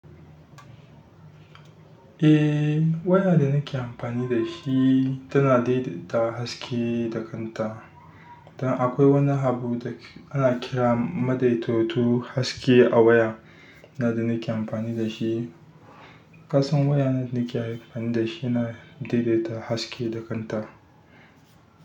Eh, waya da na ke amfani da shi tana daidaita haske da kanta. Dan akwai wani habu da ana kira maɗaitatu haske a waya na da nake amfani da shi. Ƙasan waya da nake amfani da shi yana daidaita haske da kanta.